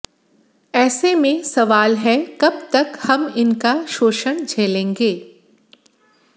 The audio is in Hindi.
ऐसे में सवाल है कब तक हम इनका शोषण झेलेंगे